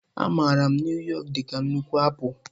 A maara Nuu yọk dị ka nnukwu apụl.